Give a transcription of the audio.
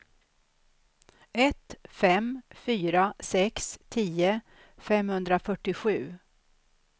ett fem fyra sex tio femhundrafyrtiosju